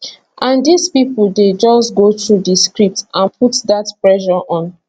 and dis pipo dey just go through di script and put dat pressure on